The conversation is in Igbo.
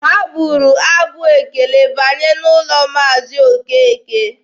Ha gụụrụ abụ ekele banye n'ụlọ Maazi Okeke.